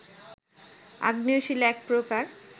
আগ্নেয় শিলা এক প্রকার